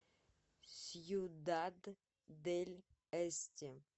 сьюдад дель эсте